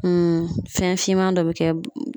fɛn finman dɔ bɛ kɛ